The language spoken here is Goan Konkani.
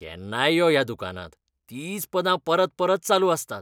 केन्नाय यो ह्या दुकानांत, तींच पदां परपरत चालू आसतात.